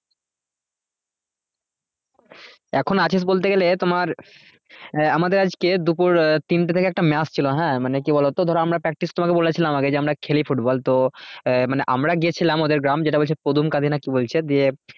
এখন আছিস বলতে গেলে তোমার আহ আমাদের আজকে দুপুর আহ তিনটে থেকে একটা match ছিল হ্যাঁ মানে কি বলতো ধরো আমরা practice তোমাকে বলেছিলাম আগে যে আমরা খেলি football তো আহ মানে আমরা গিয়েছিলাম ওদের গ্রাম যেটা বলছে কদুমকাদি না কি বলছে দিয়ে